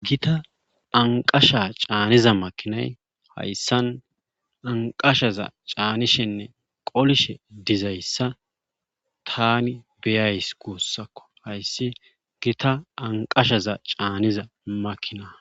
Gita anqasha caaniza makinay hayssan anqashaza caanishenne qolishe dizayssa tani beyays guussakko hayssi gita anqashaza caaniza makinaa.